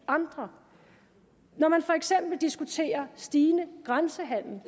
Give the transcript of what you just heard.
andre når man for eksempel vil diskutere stigende grænsehandel